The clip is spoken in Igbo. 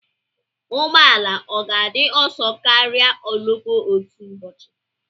Ụgbọ ala ọ ga-adị ọsọ karịa ụgbọ oloko otu ụbọchị?